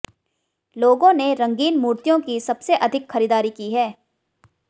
लोगों ने रंगीन मूर्तियों की सबसे अधिक खरीदारी की है